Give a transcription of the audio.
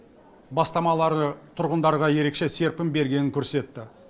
бастамалары тұрғындарға ерекше серпін бергенін көрсетті